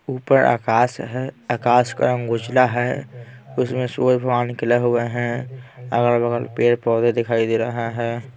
ऊपर आकाश है आकाश का रंग गुजला है उसमें सूरज वहा निकला हुए हैं अगल-बगल पेड़ पौधे दिखाई दे रहा है।